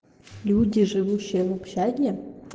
люди живущие в общаге